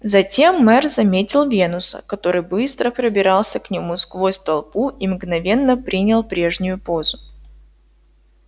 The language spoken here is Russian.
затем мэр заметил венуса который быстро пробирался к нему сквозь толпу и мгновенно принял прежнюю позу